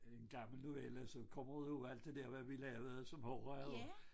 En gammel novelle som kommer ud over alt det der hvad vi lavede som horra jo